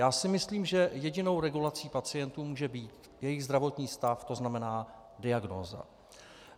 Já si myslím, že jedinou regulací pacientů může být jejich zdravotní stav, to znamená, diagnóza.